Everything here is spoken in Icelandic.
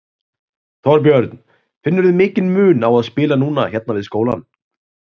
Þorbjörn: Finnurðu mikinn mun á að spila núna hérna við skólann?